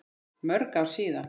Mörg ár síðan.